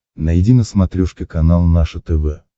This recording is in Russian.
найди на смотрешке канал наше тв